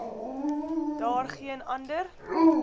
daar geen ander